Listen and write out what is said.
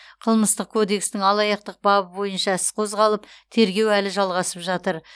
қылмыстық кодекстің алаяқтық бабы бойынша іс қозғалып тергеу әлі жалғасып жатыр